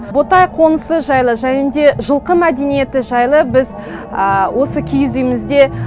ботай қонысы жайлы және де жылқы мәдениеті жайлы біз осы киіз үйімізде